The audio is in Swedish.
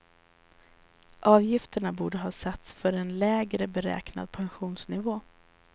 Avgifterna borde ha satts för en lägre beräknad pensionsnivå.